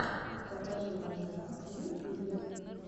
покажи вождя в ютюбе